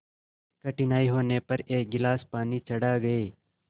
कठिनाई होने पर एक गिलास पानी चढ़ा गए